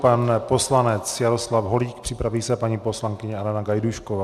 Pan poslanec Jaroslav Holík, připraví se paní poslankyně Alena Gajdůšková.